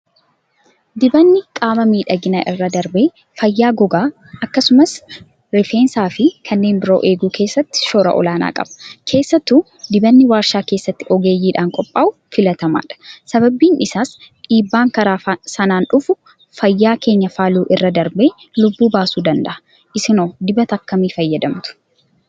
Dibanni qaamaa miidhagina irra darbee fayyaa gogaa akkasumas rifeensaafi kanneen biroo eeguu keessatti shoora olaanaa qaba. Keessattuu dibanni warshaa keessatti ogeeyyiidhaan qophaa'u filatamaadha. Sabani isaas dhiibbaan karaa sanaan dhufu fayyaa keenya faaluu irra darbee lubbuu baasuu danda'a. Isinoo dibata akkamii fayyadamtu?